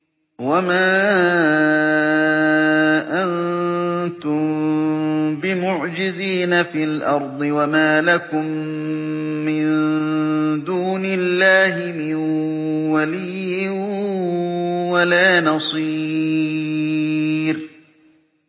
وَمَا أَنتُم بِمُعْجِزِينَ فِي الْأَرْضِ ۖ وَمَا لَكُم مِّن دُونِ اللَّهِ مِن وَلِيٍّ وَلَا نَصِيرٍ